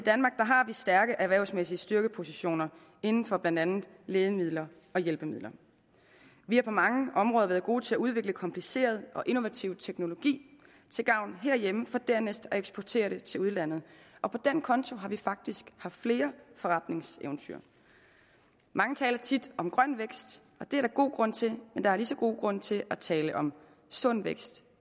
stærke erhvervsmæssige styrkepositioner inden for blandt andet lægemidler og hjælpemidler vi har på mange områder været gode til at udvikle kompliceret og innovativ teknologi til gavn herhjemme for dernæst at eksportere det til udlandet og på den konto har vi faktisk haft flere forretningseventyr mange taler tit om grøn vækst og det er der god grund til men der er lige så god grund til at tale om sund vækst